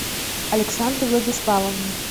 александре владиславовне